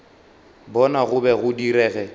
bona go be go direge